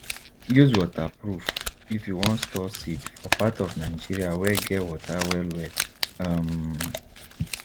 use waterproof if you wan store seed for part of nigeria wey get water well well um